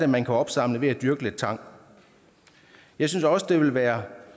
man kan opsamle ved at dyrke lidt tang jeg synes også det ville være